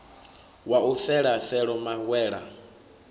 wa u fela felo mawela